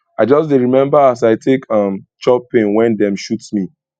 i just dey rememba as i take um chop pain wen dem shoot me